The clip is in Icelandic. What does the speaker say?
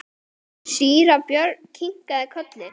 Síra Björn kinkaði kolli.